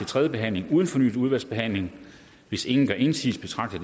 tredje behandling uden fornyet udvalgsbehandling hvis ingen gør indsigelse betragter